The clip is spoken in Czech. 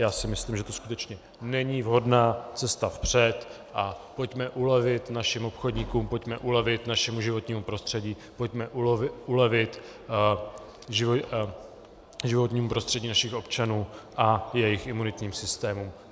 Já si myslím, že to skutečně není vhodná cesta vpřed, a pojďme ulevit našim obchodníkům, pojďme ulevit našemu životnímu prostředí, pojďme ulevit životnímu prostředí našich občanů a jejich imunitním systémům.